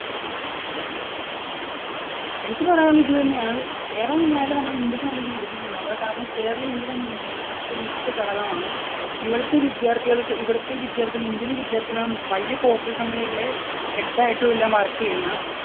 എനിക്ക് പറയാനുള്ളത് ഇതുതന്നെയാണ്. കേരളം നന്നായാലേ നമ്മുടെ ഇന്ത്യയ്ക്ക് നല്ലൊരു വികസനം ഉണ്ടാവുകയുള്ളൂ. കാരണം കേരളം ഇന്ത്യയുടെ ഉം മറ്റൊരു മുഖ്യ ഘടകമാണ്. ഇവിടത്തെ വിദ്യാർഥികൾക്ക് ഇവിടുത്തെ വിദ്യാർത്ഥികൾക്ക്, ഇന്ത്യയിലെ വിദ്യാർത്ഥികൾ ആണ് വലിയ corporate company കളിലെ head ആയിട്ടും എല്ലാം work ചെയ്യുന്നത്.